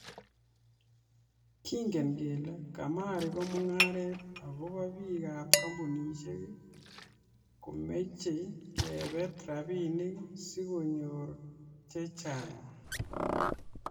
Kengen kele kamari ko mung'aret ako biikab kampunisiek komeche kebeet rabiinik si konyor che chang'